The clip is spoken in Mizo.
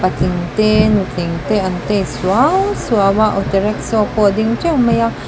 patling te nutling te an tei suau suau a auto rackshaw pawh a ding teuh mai a.